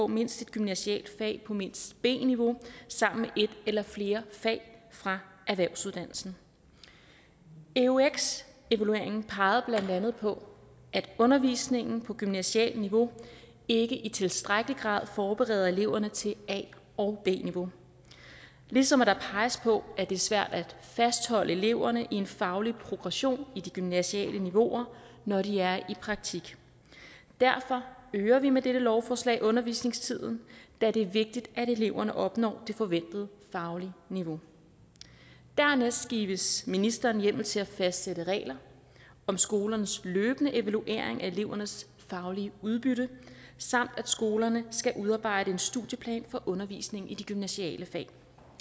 mindst et gymnasialt fag på mindst b niveau sammen med et eller flere fag fra erhvervsuddannelsen eux evalueringen pegede blandt andet på at undervisningen på gymnasialt niveau ikke i tilstrækkelig grad forbereder eleverne til a og b niveau ligesom der peges på at det er svært at fastholde eleverne i en faglig progression i de gymnasiale niveauer når de er i praktik derfor øger vi med dette lovforslag undervisningstiden da det er vigtigt at eleverne opnår det forventede faglige niveau dernæst gives ministeren hjemmel til at fastsætte regler om skolernes løbende evaluering af elevernes faglige udbytte samt at skolerne skal udarbejde en studieplan for undervisning i de gymnasiale fag